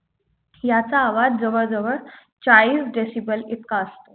याचा आवाज जवळ जवळ चाळीस DECIBEL इतका असतो